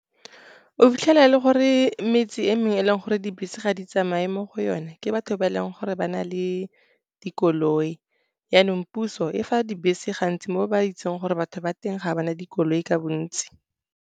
O fitlhela e le gore metse e mengwe, e e leng gore dibese ga di tsamaye mo go yone, ke batho ba e leng gore ba na le dikoloi. Jaanong puso e fa dibese gantsi mo ba itseng gore batho ba teng ga ba na dikoloi ka bontsi.